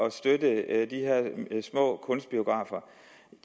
at støtte de små kunstbiografer